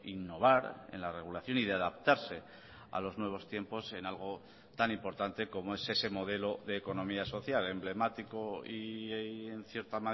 innovar en la regulación y de adaptarse a los nuevos tiempos en algo tan importante como es ese modelo de economía social emblemático y en cierta